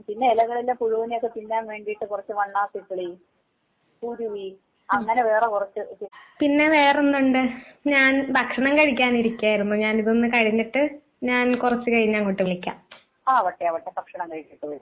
ഉം പിന്നെ ഇലകളിലെ പുഴുവിനെ ഒക്കെ തിന്നാൻ വേണ്ടിയിട്ട് കൊറച്ച് വണ്ണാത്തിക്കിളി, കുരുവി ഉം അങ്ങനെ വേറെ കുറച്ച്. ആവട്ടെ ആവട്ടെ ഭക്ഷണം കഴിച്ചിട്ട് വിളി